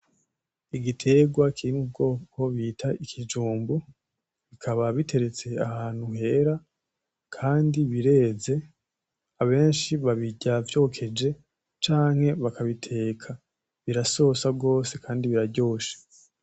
Igiterwa kiri mu bwoko bita ikijumbu, bikaba biteretse ahantu hera kandi bireze, abenshi babirya vyokeje canke bakabiteka. Birasosa gose kandi biraryoshe.